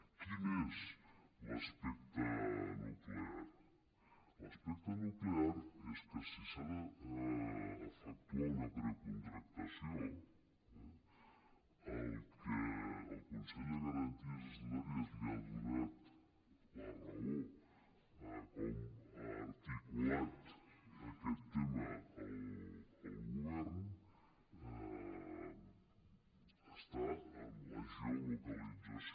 quin és l’aspecte nuclear l’aspecte nuclear és que si s’ha d’efectuar una precontractació eh en el que el consell de garanties estatutàries li ha donat la raó a com ha articulat aquest tema el govern està en la geolocalització